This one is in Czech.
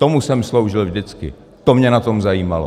Tomu jsem sloužil vždycky, to mě na tom zajímalo.